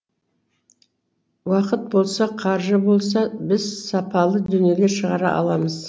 уақыт болса қаржы болса біз сапалы дүниелер шығара аламыз